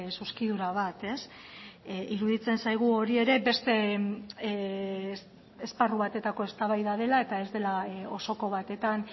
zuzkidura bat iruditzen zaigu hori ere beste esparru batetako eztabaida dela eta ez dela osoko batetan